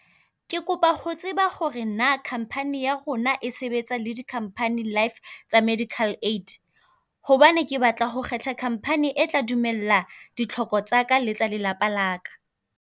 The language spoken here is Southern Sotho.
Ke kopa ho tseba hore naa khamphani ya rona e sebetsa le di khamphani life tsa medical aid? Hobane ke batla ho kgetha khamphani e tla dumela ditlhoko tsaka le tsa lelapa laka.